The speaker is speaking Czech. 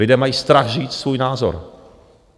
Lidé mají strach říct svůj názor.